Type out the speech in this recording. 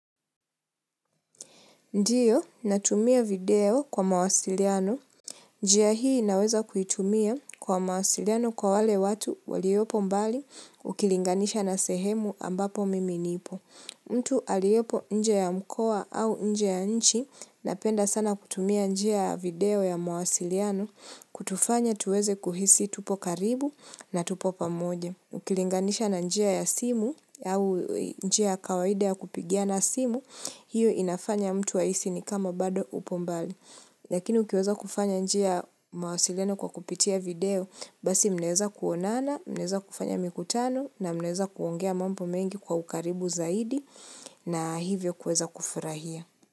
Ndiyo, natumia video kwa mawasiliano. Njia hii inaweza kuitumia kwa mawasiliano kwa wale watu waliopo mbali ukilinganisha na sehemu ambapo mimi nipo. Mtu aliopo nje ya mkoa au nje ya nchi na penda sana kutumia nje ya video ya mawasiliano kutufanya tuweze kuhisi tupo karibu na tupo pamoja. Ukilinganisha na njia ya simu au njia kawaida ya kupigia na simu, hiyo inafanya mtu ahisi ni kama bado upo mbali. Lakini ukiweza kufanya njia mawasiliano kwa kupitia video, basi mneweza kuonana, mneweza kufanya mikutano na mneweza kuongea mambo mengi kwa ukaribu zaidi na hivyo kuweza kufurahia.